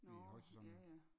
Nårh ja ja